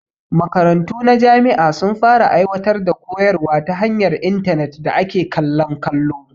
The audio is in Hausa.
Makaratu na jami'a sun fara aiwatar da koyarwa ta hanyar intarnet da ake kallon kallo